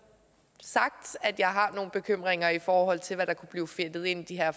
sagt at jeg har nogle bekymringer i forhold til hvad der kunne blive fedtet ind i de her